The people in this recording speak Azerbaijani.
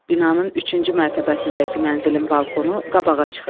Binanın üçüncü mərtəbəsindəki mənzilin balkonu qabağa çıxıb.